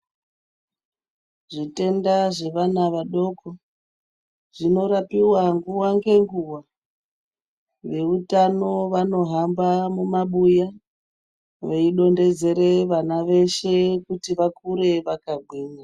Zvitenda zvevana vadoko zvinorapiwa nguwa ngenguwa. Veutano vanohamba mumabuya, veidonhedzere vana veshe kuti vakure vakagwinya.